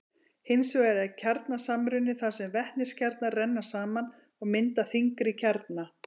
hins vegar er kjarnasamruni þar sem vetniskjarnar renna saman og mynda þyngri kjarna